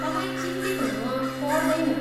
तपाईँ चिन्तित हुन पर्दैन।